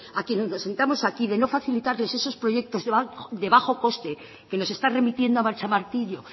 a quienes nos sentamos aquí de no facilitarles esos proyectos de bajo coste que nos está remitiendo a machamartillo